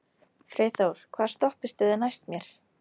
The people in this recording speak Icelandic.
Freyþór, hvaða stoppistöð er næst mér?